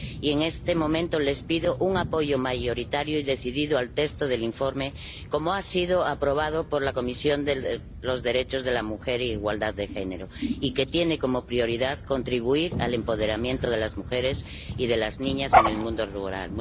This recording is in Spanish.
Y, en este momento, les pido un apoyo mayoritario y decidido al texto del informe como ha sido aprobado por la Comisión de Derechos de la Mujer e Igualdad de Género y que tiene como prioridad contribuir al empoderamiento de las mujeres y de las niñas en el mundo rural.